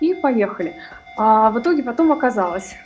и поехали аа в итоге потом оказалось